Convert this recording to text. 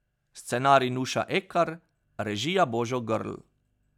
Scenarij Nuša Ekar, režija Božo Grlj.